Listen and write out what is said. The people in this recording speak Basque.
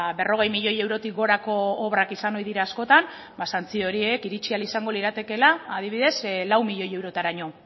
berrogei milioi eurotik gorako obrak izan ohi dira askotan santzio horiek iritsi ahal izango liratekeela adibidez lau milioi eurotaraino